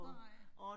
Nej